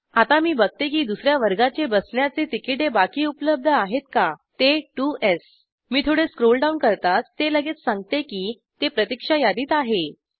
आता मी बघते की दुसर्या वर्गाचे बसण्याचे तिकीटे बाकी उपलब्ध आहेत का ते त्वो स् मी थोडे स्क्रोलडाऊन करताच ते लगेच सांगते की ते प्रतिक्षा यादीत आहे